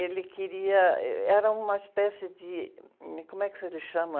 Ele queria... Era uma espécie de me... Como é que ele chama?